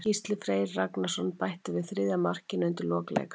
Gísli Freyr Ragnarsson bætti við þriðja markinu undir lok leiks.